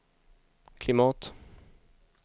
klimat